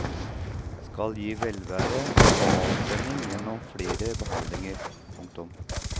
Skal gi velvære og avspenning gjennom flere behandlinger. punktum